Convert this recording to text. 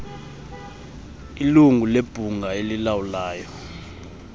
ilungu lebhunga elilawulayo